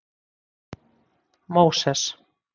Móses